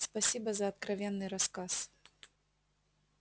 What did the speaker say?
спасибо за откровенный рассказ